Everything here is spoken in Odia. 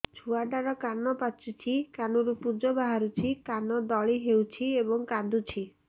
ଛୁଆ ଟା ର କାନ ପାଚୁଛି କାନରୁ ପୂଜ ବାହାରୁଛି କାନ ଦଳି ହେଉଛି ଏବଂ କାନ୍ଦୁଚି